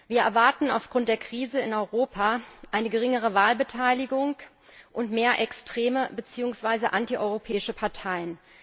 Wir erwarten aufgrund der Krise in Europa eine geringere Wahlbeteiligung und mehr extreme bzw. antieuropäische Parteien.